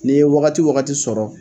Nin ye wagati u wagati sɔrɔ